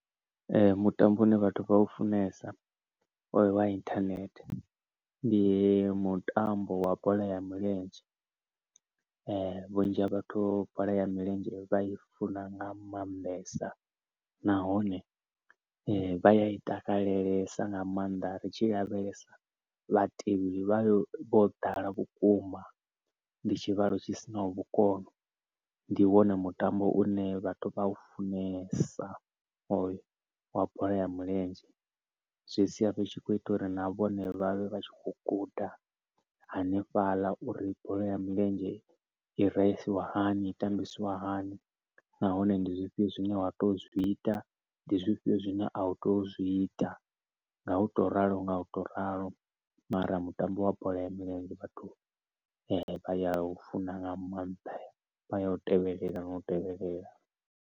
Mutambo u ne vhathu vha u funesa wa internet, ndi mutambo wa bola ya milenzhe. Vhunzhi ha vhathu bola ya milenzhe vha i funa nga maanḓesa, nahone vha ya i takalelesa nga maanḓa ri tshi lavhelesa vhatevheli vhayo vho ḓala vhukuma. Ndi tshivhalo tshi sinaho vhukono, ndi wone mutambo une vhathu vha ya u funesa hoyo wa bola ya milenzhe, zwi sia zwi tshi khou ita uri na vhone vhavhe vha tshi kho guda hanefhaḽa uri bola ya milenzhe i raisiwa hani, i tambisiwa hani. Nahone ndi zwifhio zwine wa tea u zwi ita, ndi zwifhio zwine a u tei u zwi ita, nga u to ralo nga u to ralo. Mara mutambo wa bola ya milenzhe vhathu vha ya u funa nga maanḓa, vha ya u tevhelela no u tevhelela.